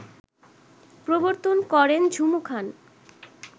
প্রবর্তন করেন ঝুমু খান